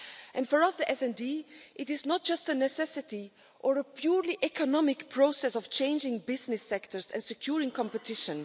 And for us, the SD Group, it is not just a necessity or a purely economic process of changing business sectors and securing competition.